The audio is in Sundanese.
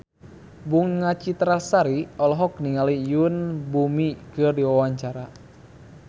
Bunga Citra Lestari olohok ningali Yoon Bomi keur diwawancara